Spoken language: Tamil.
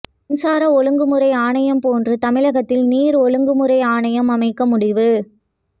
மின்சார ஒழுங்குமுறை ஆணையம் போன்று தமிழகத்தில் நீர் ஒழுங்குமுறை ஆணையம் அமைக்க முடிவு